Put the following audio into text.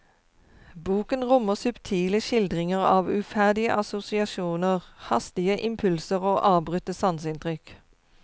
Boken rommer subtile skildringer av uferdige assosiasjoner, hastige impulser og avbrutte sanseinntrykk.